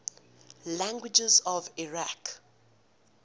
languages of iraq